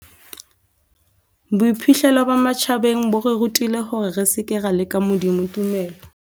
Boiphihlelo ba matjhabeng bo re rutile hore re seke ra leka Modimo tumelo.